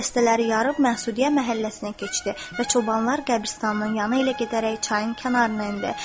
O dəstələri yarıb Məsudiyyə məhəlləsinə keçdi və çobanlar qəbristanlığın yanı ilə gedərək çayın kənarına endi.